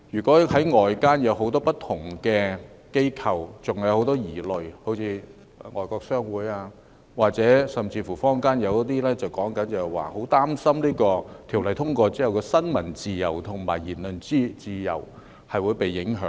然而，外間有很多不同的機構可能還有很多疑慮，好像外國商會，甚至坊間亦表示很擔心《條例草案》通過後，新聞自由及言論自由會被影響。